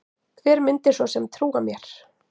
Hver myndi svo sem trúa mér?